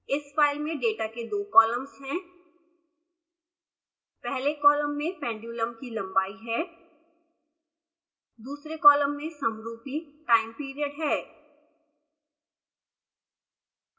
इस फाइल में डेटा के दो कॉलम्स हैं पहले कॉलम में pendulum की लंबाई है दूसरे कॉलम में समरूपी time period है